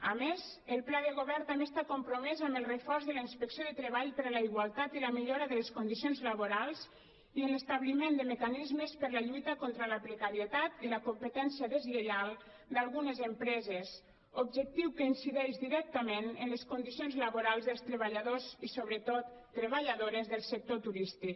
a més el pla de govern també està compromès amb el reforç de la inspecció de treball per a la igualtat i la millora de les condicions laborals i en l’establiment de mecanismes per a la lluita contra la precarietat i la competència deslleial d’algunes empreses objectiu que incideix directament en les condicions laborals dels treballadors i sobretot treballadores del sector turístic